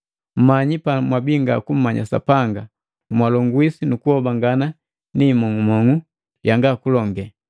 Mmanyi pamwabii nga kummanya Sapanga, mwalongwiswi nukuhoa ni himong'umong'u yanga kulonge.